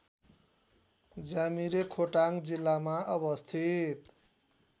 ज्यामिरे खोटाङ जिल्लामा अवस्थित